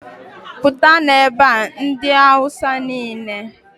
pụtanụ ebe a! ndị awụsa niile